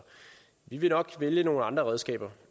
vi vil nok vælge nogle andre redskaber